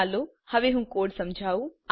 ચાલો હું હવે કોડ સમજાવું